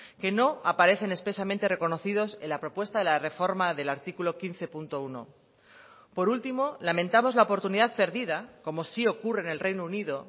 que no aparecen expresamente reconocidos en la propuesta de la reforma del artículo quince punto uno por último lamentamos la oportunidad perdida como sí ocurre en el reino unido